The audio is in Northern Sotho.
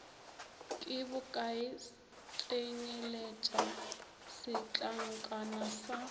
ke bokae tsenyeletša setlankana sa